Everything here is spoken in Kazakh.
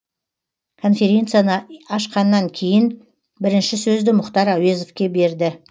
конференцияны ашқаннан кейін бірінші сөзді мұхтар әуезовке берді